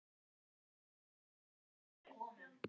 Og ekki ég!